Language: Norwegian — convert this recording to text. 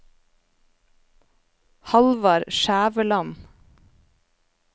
Hallvard Skjæveland